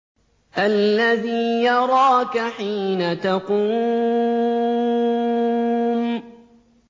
الَّذِي يَرَاكَ حِينَ تَقُومُ